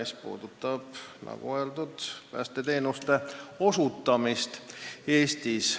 See puudutab, nagu öeldud, päästeteenuste osutamist Eestis.